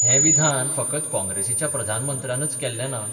'हें विधान फकत काँग्रेसीच्या प्रधानमंत्र्यानच केल्लें ना.